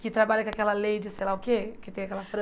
que trabalha com aquela lady, sei lá o quê, que tem aquela